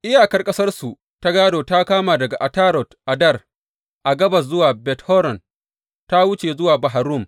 Iyakar ƙasarsu ta gādo ta kama daga Atarot Addar a gabas zuwa Bet Horon, ta wuce zuwa Bahar Rum.